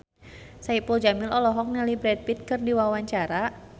Saipul Jamil olohok ningali Brad Pitt keur diwawancara